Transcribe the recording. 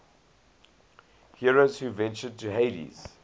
heroes who ventured to hades